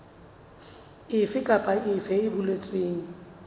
efe kapa efe e boletsweng